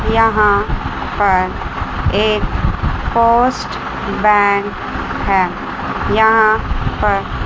यहाँ पर एक पोस्ट बैंक है यहाँ पर--